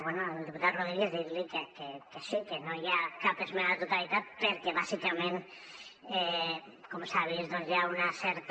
bé al diputat rodríguez dir li que sí que no hi ha cap esmena a la totalitat perquè bàsicament com s’ha vist doncs hi ha una certa